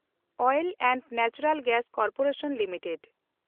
oil and natural gas corporation limited